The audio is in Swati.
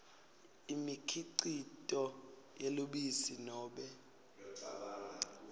imikhicito yelubisi nobe